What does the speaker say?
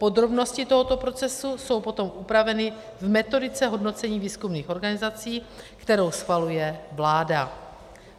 Podrobnosti tohoto procesu jsou potom upraveny v metodice hodnocení výzkumných organizací, kterou schvaluje vláda.